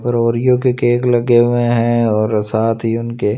और ओरियो के केक लगे हुए हैं और साथ ही उनके--